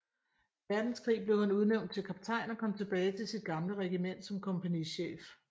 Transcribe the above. Verdenskrig blev han udnævnt til kaptajn og kom tilbage til sit gamle regiment som kompagnichef